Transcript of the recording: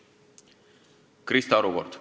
Krista Aru kord.